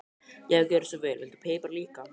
Já, gjörðu svo vel. Viltu pipar líka?